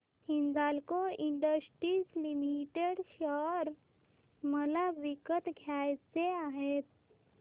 Hindalco industries limited share मला विकत घ्यायचे आहेत